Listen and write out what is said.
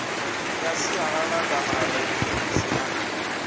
ya sialala kanarakhemisi a ni